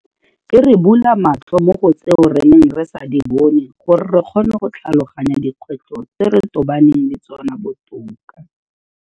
E re bula matlho mo go tseo re neng re sa di bone gore re kgone go tlhaloganya dikgwetlho tse re tobaneng le tsona botoka.